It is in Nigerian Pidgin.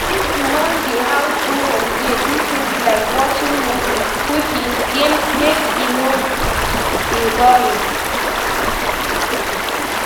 If you won de house do holiday do things like watching movies, cooking, games make e no de boring